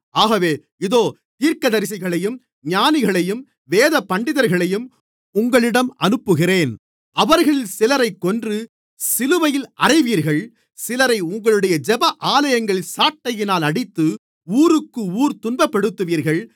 ஆகவே இதோ தீர்க்கதரிசிகளையும் ஞானிகளையும் வேதபண்டிதர்களையும் உங்களிடம் அனுப்புகிறேன் அவர்களில் சிலரைக் கொன்று சிலுவைகளில் அறைவீர்கள் சிலரை உங்களுடைய ஜெப ஆலயங்களில் சாட்டையினால் அடித்து ஊருக்கு ஊர் துன்பப்படுத்துவீர்கள்